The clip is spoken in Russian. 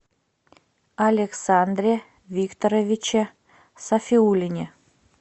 александре викторовиче сафиуллине